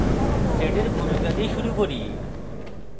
sed এর ভূমিকা দিয়ে শুরু করি